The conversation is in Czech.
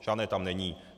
Žádné tam není.